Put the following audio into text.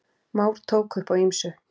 Már tók upp á ýmsu.